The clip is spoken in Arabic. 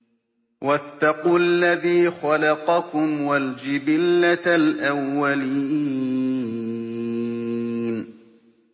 وَاتَّقُوا الَّذِي خَلَقَكُمْ وَالْجِبِلَّةَ الْأَوَّلِينَ